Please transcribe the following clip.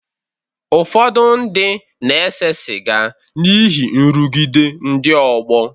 Ụfọdụ ndị na-ese sịga n’ihi nrụgide ndị ọgbọ.